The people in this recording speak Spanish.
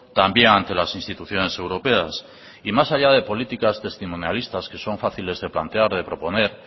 también ante las instituciones europeas y más allá de políticas testimonialistas que son fáciles de plantear de proponer